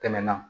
Tɛmɛna